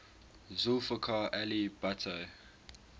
zulfikar ali bhutto